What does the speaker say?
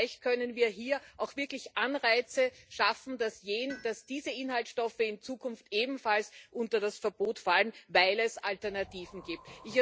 Das heißt, vielleicht können wir hier wirklich Anreize dafür schaffen, dass diese Inhaltsstoffe in Zukunft ebenfalls unter das Verbot fallen, weil es Alternativen gibt.